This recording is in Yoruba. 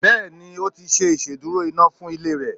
Bẹ́ẹ̀ni, o ti ṣe ìsedúró iná fún ilé re